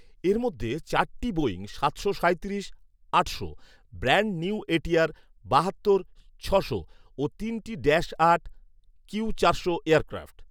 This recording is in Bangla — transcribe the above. এর মধ্যে চারটি বোয়িং সাতশো সাঁইত্রিশ আটশো, ব্র্যান্ড নিউ এটিআর বাহাত্তর ছশো ও তিনটি ড্যাশ আট কিউ চারশো এয়ারক্রাফট